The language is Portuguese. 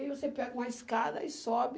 Aí você pega uma escada e sobe.